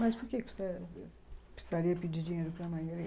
Mas por que precisa ãh precisaria pedir dinheiro para a mãe?